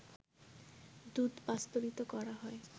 দুধ পাস্তুরিত করা হয়